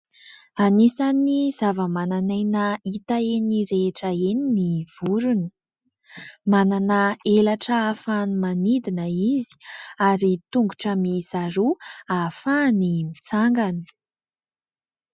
Anisan'ny zavamananaina hita eny rehetra eny ny vorona. Manana elatra ahafahany manidina izy ary tongotra miisa roa ahafahany mitsangana.